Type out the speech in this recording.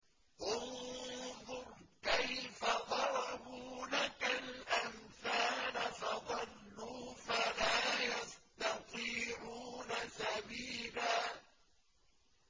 انظُرْ كَيْفَ ضَرَبُوا لَكَ الْأَمْثَالَ فَضَلُّوا فَلَا يَسْتَطِيعُونَ سَبِيلًا